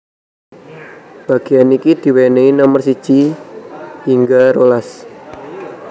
Bagéan iki diwènèhi nomer siji hingga rolas